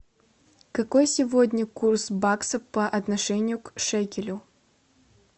какой сегодня курс бакса по отношению к шекелю